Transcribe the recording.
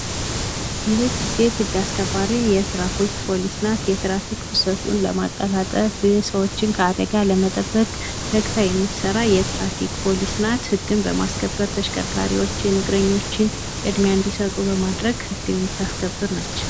ይች ሴት ህግ አስከባሪ ትራፊክ ፖሊስ ናት። የትራፋክ ፍሰቱን ለማቀላጠፍና አደጋን ለመቀነስ ተግታ የምትሰራ የትራፊክ ፖሊስ ናት። ህግን በማስከበር መኪናዎችን ፣ሰዎችን ቅድሚያ እንዲሰጡ የምታደርግ የትራፊክ ፖሊስ ናት።